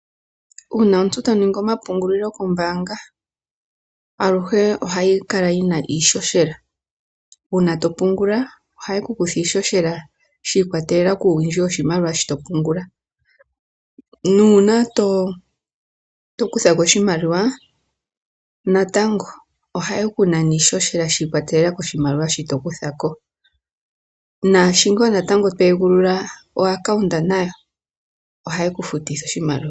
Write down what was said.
Uuna omuntu ta ningi omapungulilo kombanga, aluhe ohayi kala yina iihohela, uuna to pungula ohaye ku kutha iihohela, shiikwatelela kuuwindji woshimaliwa shoka to pungula, nuuna to kuthako oshimaliwa natango oha yeku nana iihohela shiikwatelela koshimaliwa shoka to kuthako. Nashi to egulula okakalata ohaye ku futitha oshimaliwa.